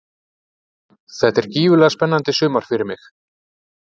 Þetta er gífurlega spennandi sumar fyrir mig.